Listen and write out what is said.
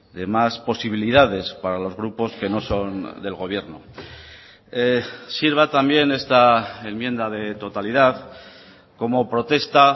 dee más posibilidades para los grupos que no son del gobierno sirva también esta enmienda de totalidad como protesta